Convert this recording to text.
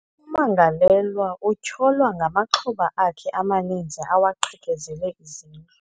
Ummangalelwa utyholwa ngamaxhoba akhe amaninzi awaqhekezele izindlu.